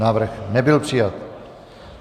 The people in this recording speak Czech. Návrh nebyl přijat.